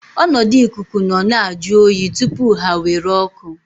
Ọnọdụ ikuku nọ na-ajụ oyi tupu ha nwere oku.